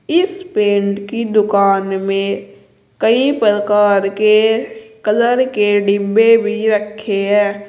इस पेंट की दुकान में कइ प्रकार के कलर के डिब्बे भी रखे हैं।